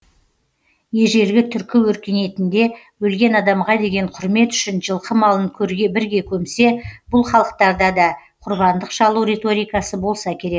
ежелгі түркі өркениетінде өлген адамға деген құрмет үшін жылқы малын көрге бірге көмсе бұл халықтарда да құрбандық шалу риторикасы болса керек